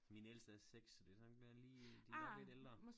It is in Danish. Min ældste er 6 så det sådan lige de nok lidt ældre